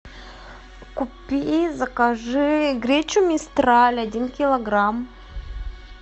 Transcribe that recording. купи закажи гречу мистраль один килограмм